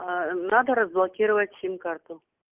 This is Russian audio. надо разблокировать сим карту